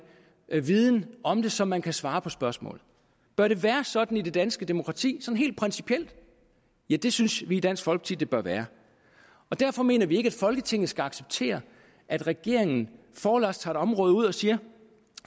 viden om det så man kan svare på spørgsmålet bør det være sådan i det danske demokrati helt principielt ja det synes vi i dansk folkeparti at det det bør være derfor mener vi ikke at folketinget skal acceptere at regeringen forlods tager et område ud og siger